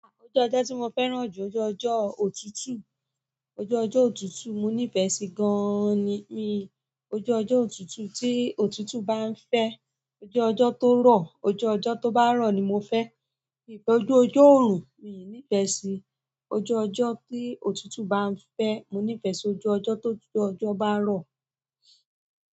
Ojú ọjọ́ tí mo fẹ́ràn jù, oje ọjọ́ òtútù. Ojú ọjọ́ òtútù mo ní fẹ́ si gan an ni, mi ojú ọjọ́ òtútù tí òtútù báa ń fẹ́. Ojú ọjọ́ tó rọ̀, ojú ọjọ́ tó bá rọ̀ ni mo fẹ. Ojú ọjọ́ òrùn, mi i nifẹ sí. Ojú ọjọ́ tí òtútù bá ń fẹ, mo nifẹ sí ojú ọjọ́ tí òjò bá rọ̀.